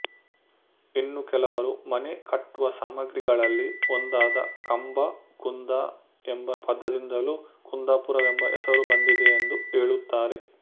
ಇನ್ನು ಕೆಲವರು ಮನೆ ಕಟ್ಟುವ ಸಾಮಗ್ರಿಗಳಲ್ಲಿ ಒಂದಾದ ಕಂಬ ಕುಂದ ಎಂಬ ಪದದಿಂದಲೂ ಕುಂದಾಪುರವೆಂಬ ಹೆಸರು ಬಂದಿದೆಯೆಂದು ಹೇಳುತ್ತಾರೆ